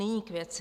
Nyní k věci.